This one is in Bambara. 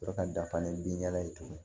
Sɔrɔ ka dafa ni bin yaala ye tuguni